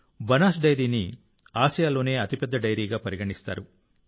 బనాస్ డెయిరీని ఆసియాలోనే అతిపెద్ద డెయిరీగా పరిగణిస్తారు